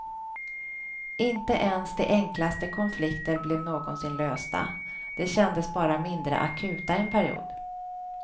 Inte ens de enklaste konflikter blev någonsin lösta, de kändes bara mindre akuta en period.